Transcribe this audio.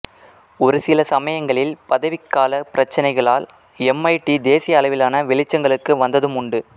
ஒருசில சமயங்களில் பதவிக்கால பிரச்சினைகளால் எம்ஐடி தேசிய அளவிலான வெளிச்சங்களுக்கு வந்ததும் உண்டு